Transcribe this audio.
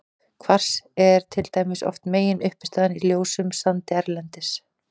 Kvars er til dæmis oft meginuppistaðan í ljósum sandi erlendis.